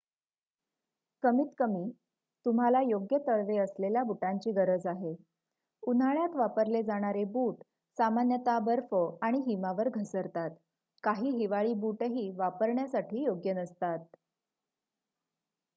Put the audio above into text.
कमीतकमी तुम्हाला योग्य तळवे असलेल्या बुटांची गरज आहे उन्हाळ्यात वापरले जाणारे बूट सामान्यतः बर्फ आणि हिमावर घसरतात काही हिवाळी बूटही वापरण्यासाठी योग्य नसतात